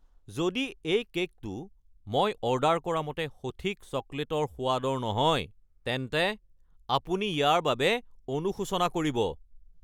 যদি এই কে'কটো মই অৰ্ডাৰ কৰামতে সঠিক চকলেটৰ সোৱাদৰ নহয়, তেন্তে আপুনি ইয়াৰ বাবে অনুশোচনা কৰিব!